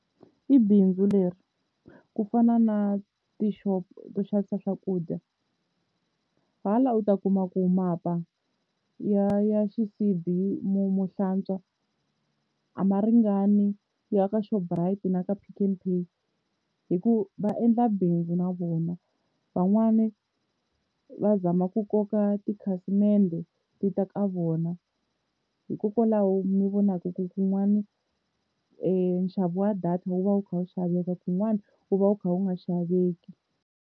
I bindzu leri ku fana na tixopo to xavisa swakudya, hala u ta kuma ku mapa ya ya xisibi mo mo hlantswa a ma ringani ya ka Shoprite na ka Pick n Pay hi ku va endla bindzu na vona. Van'wani va zama ku koka tikhasimende ti ta ka vona hikokwalaho mi vonaka ku kun'wani nxavo wa data wu va wu kha wu xaveka kun'wana wu va wu kha wu nga xaveki.